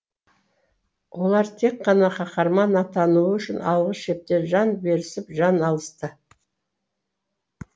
олар тек қана қаһарман атануы үшін алғы шепте жан берісіп жан алысты